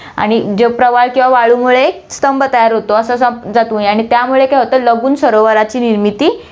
आणि जे प्रवाळ किंवा वाळूमुळे एक स्तंभ तयार होतो, असं समजा तुम्ही आणि त्यामुळे काय होतं लगून सरोवराची निर्मिती